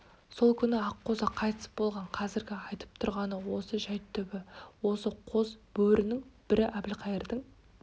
сол күні аққозы қайтыс болған қазіргі айтып тұрғаны осы жәйт түбі осы қос бөрінің бірі әбілқайырдың